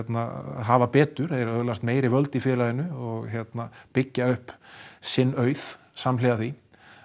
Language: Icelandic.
hafa betur þeir öðlast meiri völd í félaginu og byggja upp sinn auð samhliða því